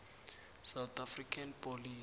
south african police